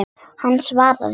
Hann svaraði ekki.